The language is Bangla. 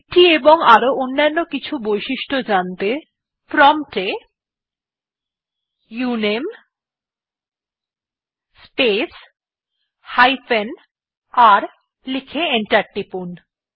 এটি এবং আরো অনেক অন্যান্য বৈশিষ্ট্য জানতে প্রম্পট এ উনামে স্পেস হাইফেন r লিখে এন্টার টিপুন